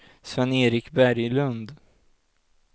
Sven-Erik Berglund